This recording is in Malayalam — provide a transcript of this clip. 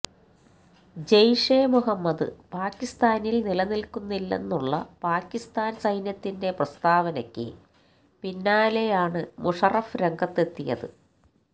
ജെയ്ഷേ മുഹമ്മദ് പാക്കിസ്ഥാനിൽ നിലനിൽക്കുന്നില്ലെന്നുള്ള പാക്കിസ്ഥാൻ സൈന്യത്തിന്റെ പ്രസ്താവനയ്ക്ക് പിന്നാലെ ആണ് മുഷറഫ് രംഗത്ത് എത്തിയത്